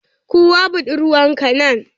Kawo buɗurwar ka nan.